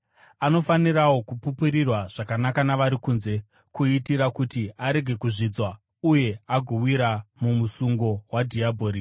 Anofanirawo kupupurirwa zvakanaka navari kunze, kuitira kuti arege kuzvidzwa, uye agowira mumusungo wadhiabhori.